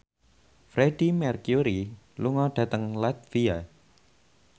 Freedie Mercury lunga dhateng latvia